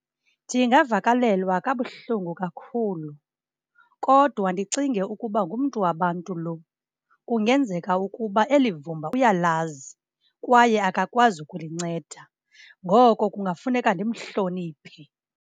Ndingavakalelwa kabuhlungu kakhulu kodwa ndicinge ukuba ngumntu wabantu lo, kungenzeka ukuba eli vumba uyalazi kwaye akakwazi ukulinceda ngoko kungafuneka ndimhloniphe.